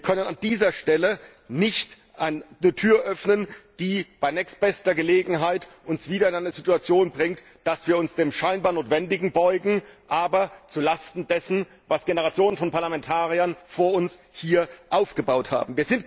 Wir können an dieser Stelle nicht eine Tür öffnen, die uns bei nächstbester Gelegenheit dann wieder in eine Situation bringt, in der wir uns dem scheinbar Notwendigen beugen, aber zu Lasten dessen, was Generationen von Parlamentariern vor uns hier aufgebaut haben.